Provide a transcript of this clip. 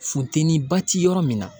Funteni ba ti yɔrɔ min na.